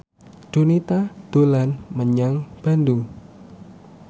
Donita dolan menyang Bandung